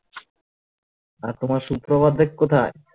আর তোমার সুপ্রভাতদেব কোথায়